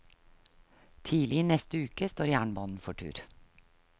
Tidlig i neste uke står jernbanen for tur.